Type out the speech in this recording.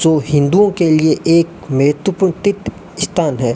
जो हिंदुओं के लिए एक महत्वपूर्ण तीर्थ स्थान है।